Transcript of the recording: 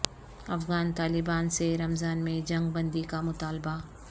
افغان طالبان سے رمضان میں جنگ بندی کا مطالبہ